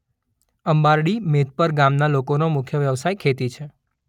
અંબારડી મેધપર ગામના લોકોનો મુખ્ય વ્યવસાય ખેતી છે.